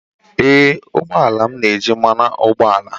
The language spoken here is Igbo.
Ee, ụgbọ ala m na-eji mmanụ ụgbọala.